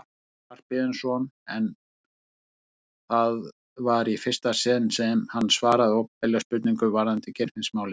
Guðjón Skarphéðinsson en það var í fyrsta sinn sem hann svaraði opinberlega spurningum varðandi Geirfinnsmálið.